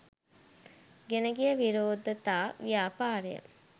ගෙන ගිය විරෝධතා ව්‍යාපාරය